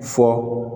Fɔ